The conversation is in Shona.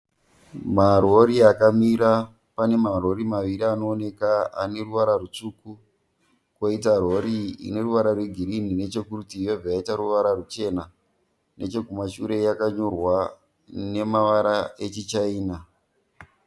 Marori akamira. Pane marori maviri anooneka ane ruvara rutsvuku. Koita rori ine ruvara rwegirini nechekurutivi yobva yaita ruvara ruchena. Nechekumashure yakanyorwa nemavara echichaina.